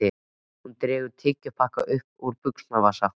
Hún dregur tyggjópakka upp úr buxnavasa.